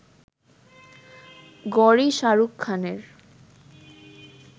গৌরি-শাহরুখ খানের